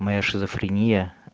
моя шизофрения